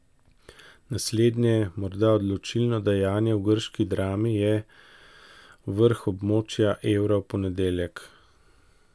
Naslednje, morda odločilno dejanje v grški drami, je vrh območja evra v ponedeljek.